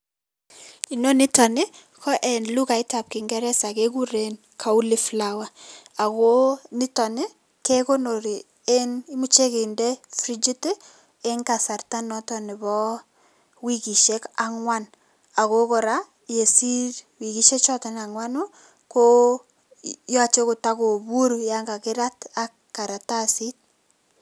Inonitoni ko eng lukaitab kingeresa kekuren cauliflower ako niton kekonori eng imuchei kende frijit eng kasarta noto nebo wikisiek angwan ako kora yesiir wikisiek choto angwanu koyache kotokopuur yon kakirat ak karatasit.